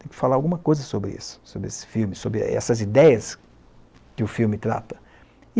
Tem que falar alguma coisa sobre isso, sobre esse filme, sobre essas ideias que o filme trata.